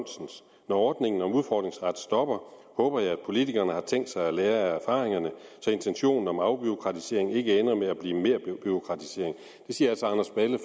ordningen om udfordringsret stopper håber jeg at politikerne har tænkt sig at lære af erfaringerne så intentionen om afbureaukratisering ikke ender med at blive merbureaukratisering det siger altså anders balle